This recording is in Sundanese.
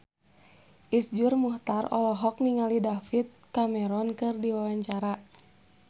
Iszur Muchtar olohok ningali David Cameron keur diwawancara